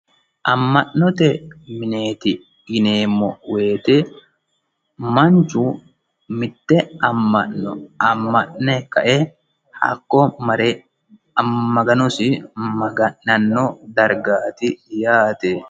Ama'note minetti yinnemo woyite manichu mitte amano ama'ne kae hakko marre maganosi magananno dariggatti yaate